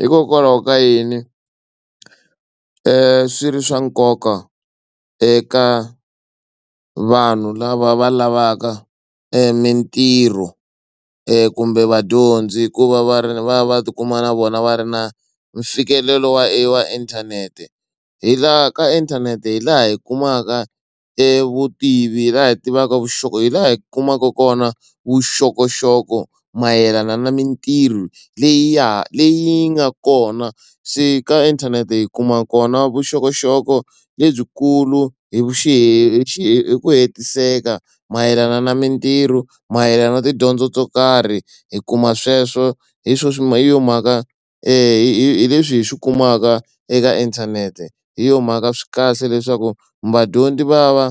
Hikokwalaho ka yini i swa nkoka eka vanhu lava va lavaka mitirho e kumbe vadyondzi hikuva va ri va va tikuma na vona va ri na mfikelelo wa inthanete hi laha ka inthanete hi laha hi kumaka evutivi hi laha hi tivaka vuxaka hi laha hi kumaka kona vuxokoxoko mayelana na mitirho leya leyi yinga kona se ka inthanete yi kuma kona vuxokoxoko lebyikulu hi xi he hi xi hi ku hetiseka mayelana na mitirho mayelana na tidyondzo to karhi hi kuma sweswo hi swo swi ma hi yo mhaka hi leswi hi swi kumaka eka inthanete hi yo mhaka swi kahle leswaku vadyondzi va va